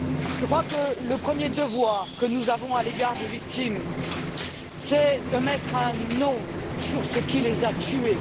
Je crois que le premier devoir que nous avons à l'égard des victimes, c'est de mettre un nom sur ce qui les a tuées.